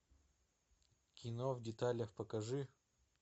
кино в деталях покажи